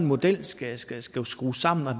model skal skal skrues skrues sammen